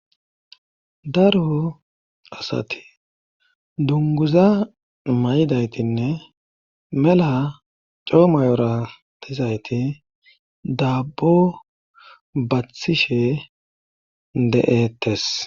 Daro asati dunguza may"daytinne mela coomayora tizayti daabbo bathishe de"ettes